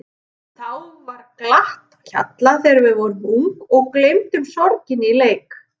Þá var glatt á hjalla þegar við vorum ung og gleymdum sorginni í leik.